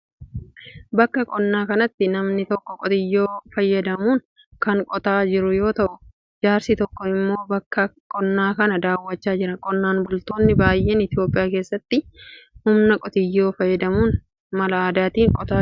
Bakka qonaa kanatti namni tokko qotiyoo fayyadamuun kan qotaa jiru yoo ta'u, jaarsi tokko immoo bakka qonnaa kana daawwachaa jira. Qonnaan bultoonni baay'een Itoophiyaa keessatti humna qotiyoo fayyadamuun mala aadaan qotaa jiru.